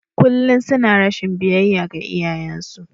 Kullum suna rashin biyayya ga iyayensu.